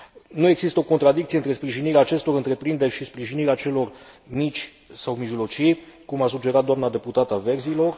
Nu există o contradicție între sprijinirea acestor întreprinderi și sprijinirea celor mici sau mijlocii, cum a sugerat doamna deputată a Verzilor.